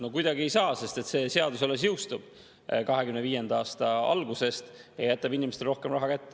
No kuidagi ei saa, sest see seadus jõustub alles 2025. aasta alguses, ja jätab inimestele rohkem raha kätte.